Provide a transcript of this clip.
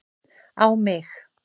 á mig